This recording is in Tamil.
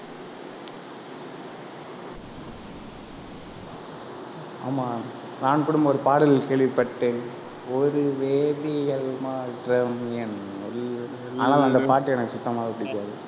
ஆமாம் நான் கூட ஒரு பாடல் கேள்விப்பட்டேன் ஒரு வேதியியல் மாற்றம் என்னுள் வந்து ஆனாலும், அந்த பாட்டு எனக்கு சுத்தமாவே பிடிக்காது.